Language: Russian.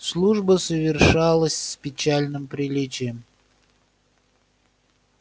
служба совершилась с печальным приличием